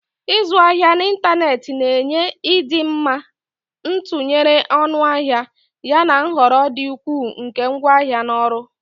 Ịzụ ahịa n'ịntanetị na-enye ịdị mma, ntụnyere ọnụahịa, yana nhọrọ dị ukwuu nke ngwaahịa na ọrụ.